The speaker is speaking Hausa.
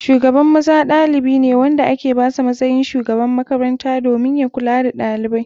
Shugaban maza ɗalibi ne wanda ake basa matsayin shugaban makaranta domin ya kula da ɗalibai.